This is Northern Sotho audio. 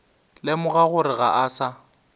lemoga gore ga a sa